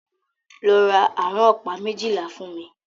Lọ ra àrán ọ̀pá méjìlá fún mí!